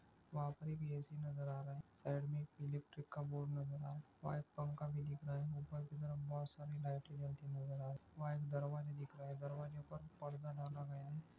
वहा पर एक ए_सी नज़र आ रहा है साइड मे इलैक्ट्रिक का बोर्ड नज़र आ रहा है व्हाइट पंखा भी दिख रहा है उपर की तरफ बहोत सारी लाइटे जलती नज़र आ रही वहा एक दरवाजा दिख रहा है दरवाजेपर परदा लगा गया है।